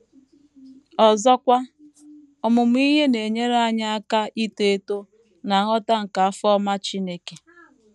Ọzọkwa, ọmụmụ ihe na - enyere anyị aka ito eto ná nghọta nke afọ ọma Chineke.